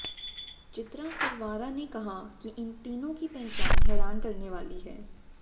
चित्रा सरवारा ने कहा कि इन तीनों की पहचान हैरान करने वाली है